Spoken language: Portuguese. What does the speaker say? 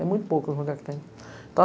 É muito pouco o lugar que tem.